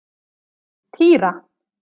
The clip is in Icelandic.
Týra